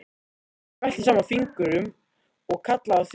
Hann smellti saman fingrum og kallaði á þjón.